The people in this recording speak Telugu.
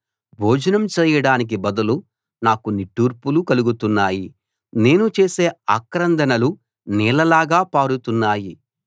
భోజనం చేయడానికి బదులు నాకు నిట్టూర్పులు కలుగుతున్నాయి నేను చేసే ఆక్రందనలు నీళ్లలాగా పారుతున్నాయి